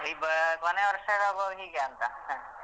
ಈ ಕೊನೆ ವರ್ಷ ಆಗುವಾಗ ಹೀಗಂತ.